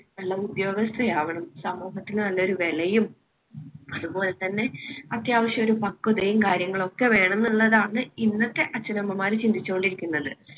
നല്ല ഉദ്യോഗസ്ഥ ആവണം സമൂഹത്തിന് നല്ലൊരു വിലയുംഅതുപോലെതന്നെ അത്യാവശ്യ ഒരു പക്വതയും കാര്യങ്ങളുംഒക്കെ വേണമെന്നുള്ളതാണ് ഇന്നത്തെ അച്ഛനമ്മമാര് ചിന്തിച്ചു കൊണ്ടിരിക്കുന്നത്.